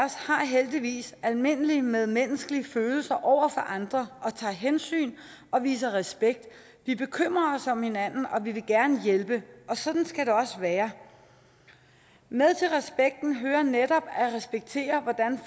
har heldigvis almindelige medmenneskelige følelser over andre og tager hensyn og viser respekt vi bekymrer os om hinanden og vi vil gerne hjælpe og sådan skal det også være med til respekten høre netop at respektere hvordan